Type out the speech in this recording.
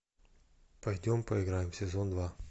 пойдем поиграем сезон два